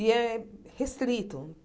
E é restrito.